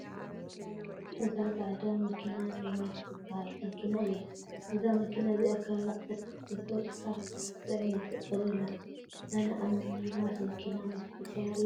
እዛ ፃዕዳ መኪና ሚማስ ትበሃል መኪና እያ። እዛ መኪና እዚኣ ከባቢ 12 ሰብ ጥራሕ ክትፅዕን ይፍቀደላ። ኣነ ኣብ ሚኒማስ መኪና ምስፋር የፅለኣኒ እዩ።